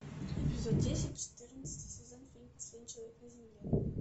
эпизод десять четырнадцатый сезон фильм последний человек на земле